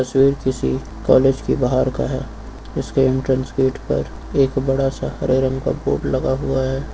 तस्वीर किसी कॉलेज की बाहर का है इसके एंट्रेंस गेट पर एक बड़ा सा हरे रंग का बोर्ड लगा हुआ है।